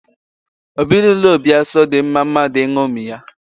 Ezinaụlọ Obiaso dị mma mmadụ ịṅomi ya.